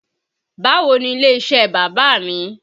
Báwo ni ilé iṣẹ́ bàbá mi?